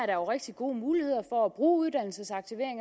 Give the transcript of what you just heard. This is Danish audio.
er rigtig gode muligheder for at bruge uddannelsesaktivering